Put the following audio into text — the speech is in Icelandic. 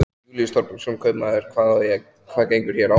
Júlíus Þorbergsson, kaupmaður: Hvað gengur hér á?